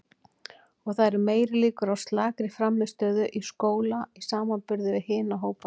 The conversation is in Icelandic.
Og það eru meiri líkur á slakri frammistöðu í skóla í samanburði við hina hópana.